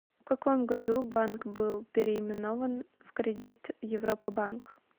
в каком году банк был переименован в кредит европа банк